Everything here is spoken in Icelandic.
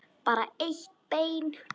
En bara eitt bein.